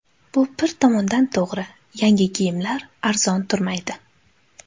Bu bir tomondan to‘g‘ri, yangi kiyimlar arzon turmaydi.